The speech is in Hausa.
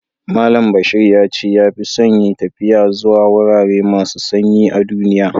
Mallam Bashir ya ce ya fi son yin taffiya zuwa wurare masu sanyi a'dunniya.